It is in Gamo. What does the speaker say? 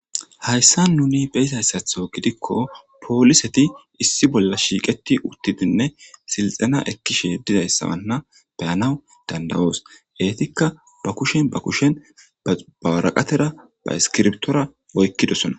Hayssa nuni beysayssatho gidikko pooliseti issi bolla shiiqeti uttidinne silxana ekkishe dizayssawanna beyanaw dandawoos eetikka ba kushen ba kushen bawaraqatera ba iskirbtora oykkidosona